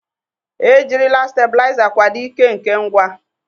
Ejirila stebuliza kwado ike nke ngwa.